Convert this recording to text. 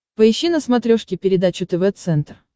поищи на смотрешке передачу тв центр